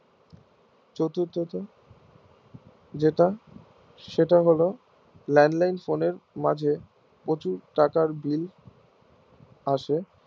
চতুর্থত যেরকম সেটা হলো landline phone এর মাঝে প্রচুর টাকার bill আসে